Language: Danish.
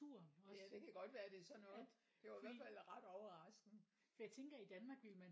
Ja det kan godt være det er sådan noget det var i hvert fald ret overraskende